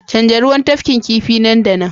canza ruwan tafkin kifi nan da nan